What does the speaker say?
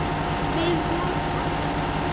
Við vorum alveg með þetta.